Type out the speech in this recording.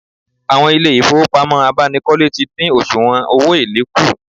Àwọn ilé ìfowópamọ́ abánikọ́lé ti dín òsùwọ̀n owó èlé kù